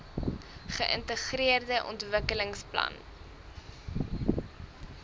geintegreerde ontwikkelings plan